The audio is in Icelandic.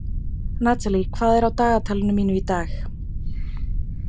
Natalie, hvað er á dagatalinu mínu í dag?